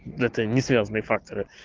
это несвязные факторы